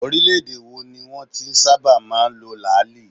Orílẹ̀ - èdè wo ni wọn ti ń sábà máa ń lo làáàlì?